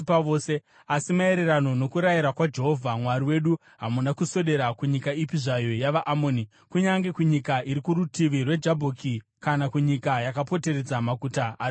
Asi maererano nokurayira kwaJehovha Mwari wedu hamuna kuswedera kunyika ipi zvayo yavaAmoni, kunyange kunyika iri kurutivi rweJabhoki kana kunyika yakapoteredza maguta ari mumakomo.